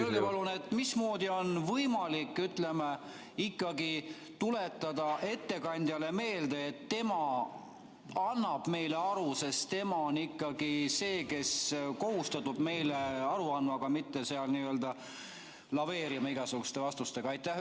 Öelge palun, mismoodi on võimalik tuletada ettekandjale meelde, et tema annab meile aru, sest tema on ikkagi see, kes on kohustatud meile aru andma, aga mitte seal laveerima igasuguste vastustega.